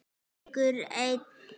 Leikur einn.